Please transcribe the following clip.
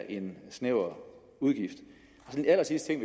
en snæver udgift som en allersidste